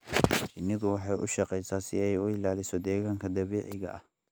Shinnidu waxay u shaqeysaa si ay u ilaaliso deegaanka dabiiciga ah.